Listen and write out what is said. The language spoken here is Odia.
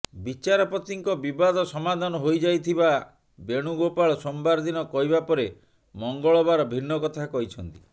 ବିଚାରପତିଙ୍କ ବିବାଦ ସମାଧାନ ହୋଇଯାଇଥିବା ବେଣୁଗୋପାଳ ସୋମବାର ଦିନ କହିବା ପରେ ମଙ୍ଗଳବାର ଭିନ୍ନ କଥା କହିଛନ୍ତି